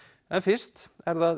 en fyrst er það